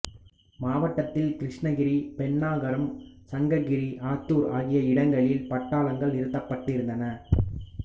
மாவட்டத்தில் கிருஷ்ணகிரி பென்னாகரம் சங்ககிரி ஆத்தூர் ஆகிய இடங்களில் பட்டாளங்கள் நிறுத்தப்பட்டிருந்தன